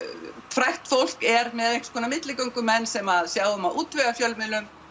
frægt fólk er með einhvers konar milligöngumenn sem sjá um að útvega fjölmiðlum